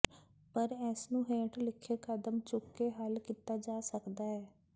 ਪਰ ਇਸ ਨੂੰ ਹੇਠ ਲਿਖੇ ਕਦਮ ਚੁੱਕ ਕੇ ਹੱਲ ਕੀਤਾ ਜਾ ਸਕਦਾ ਹੈ